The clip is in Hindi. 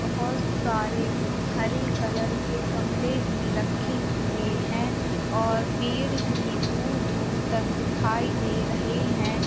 बहुत सारे हरे कलर के गमले भी रखे हुए हैं और पेड़ भी दूर दूर तक दिखाई दे रहे हैं।